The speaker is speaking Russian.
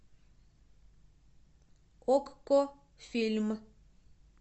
окко фильм